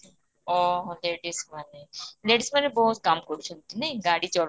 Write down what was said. ଅହଃ ladies ମାନେ ladies ମାନେ ବହୁତ କାମ କରୁଛନ୍ତି ନାଇଁ ଗାଡି